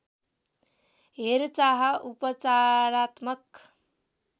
हेरचाह उपचारात्मक